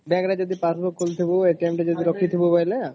bank ରେ ଯଦି ପାରୁଥିବୁ ଖୋଲିଥିବୁ ଆଉ ତ ଯଦି ରଖିଥିବୁ ବୋଇଲେ